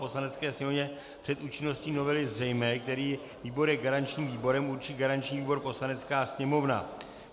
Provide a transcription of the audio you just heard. Poslanecké sněmovně před účinností novely zřejmé, který výbor je garančním výborem, určí garanční výbor Poslanecká sněmovna.